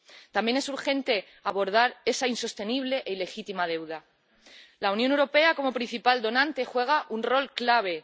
También es urgente abordar esa insostenible e ilegítima deuda. La Unión Europea como principal donante juega un rol clave.